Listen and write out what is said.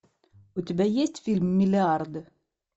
у тебя есть фильм миллиарды